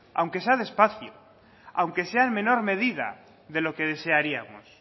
aunque sea despacio aunque sea en menor medida de lo que desearíamos